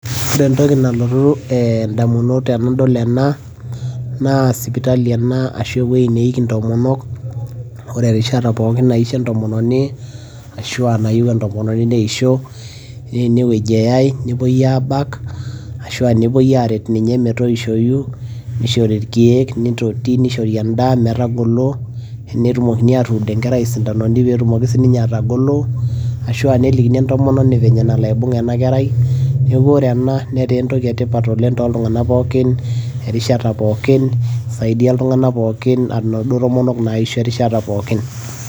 ore entoki nalotu idamunot tenadol ena, naa sipitali ena ashu aa ewueji neiki inntomonok. ore erishata pookin naisho entomononi, ashu aa nayieu entomoni neisho, naa ene wueji eyae nepuoi aabak, ashu aa nepuoi aaret ninye metoishoyu, nishori irkeek, nishori edaa, metaragolo, netumokini aatuud enkerai isindanoni pee eteumoki sii ninye atagolo, ashuu a nelikini entomonini vile nalo aibung' ena kerai, neeku ore ena netaa entoki etipat oleng tooltungank pookin erishata pookin inaduo tomonok naaisho erishata pookin.